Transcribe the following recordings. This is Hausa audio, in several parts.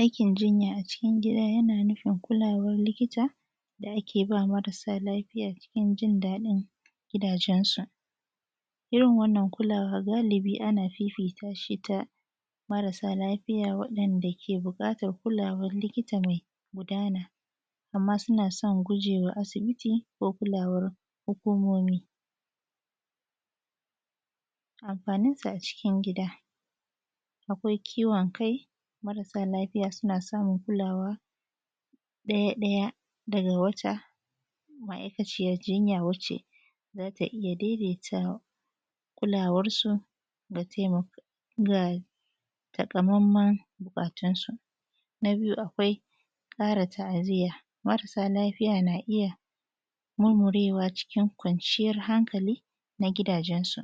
aikin jinya acikin gida yana nufin kulawar likita da ake ba marasa lafiya cikin jin daɗin gida jansu irin wannan kulawa galibi ana fifita shi da marasa lafiya wadan da suke buƙatan kulawan likita mai gudana amma suna san gujewa asibiti ko kulawar hukumomi amfaninta acikin gida akwai ciwon kai marasa lafiya suna samun kulawa ɗaya-ɗaya daga wata ma’aikayar jinya wacce za ta iya daidaitawa da kulawarsu da taimako takamaiman bukatunsu na biyu akwai ƙara ta’aziyya marasa lafiya na iya murmurewa acikin kwanciya hankali nagida jensu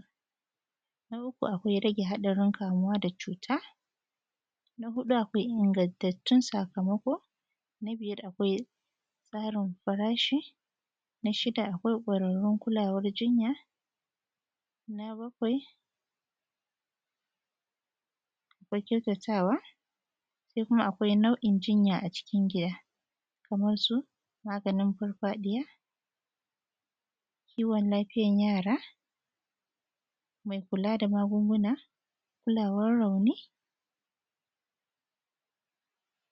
na uku akwai rage haɗarin kamuwa da cuta na huɗu akwai ingantattun sakamako na biyar akwai tsarin farashi na shida akwai kwararrun kulawar jinya na bakwai akwai kyautatawa sai kuma akwai nau’in jinya acikin gida kamarsu maganin farfaɗiya kiwon lafiyar yara mai kula da magunguna kulawar rauni